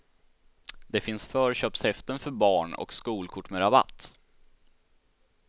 Det finns förköpshäften för barn och skolkort med rabatt.